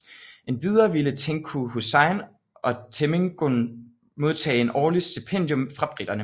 Endvidere ville Tengku Hussein og temenggung modtage en årlig stipendium fra briterne